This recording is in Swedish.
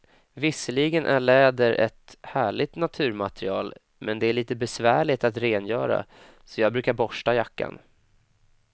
Visserligen är läder ett härligt naturmaterial, men det är lite besvärligt att rengöra, så jag brukar borsta jackan.